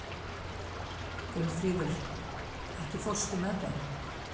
Gunnfríður, ekki fórstu með þeim?